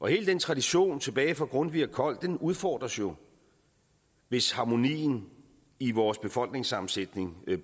hele den tradition tilbage fra grundtvig og kold udfordres jo hvis harmonien i vores befolkningssammensætning